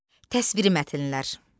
Təsviri mətnlər.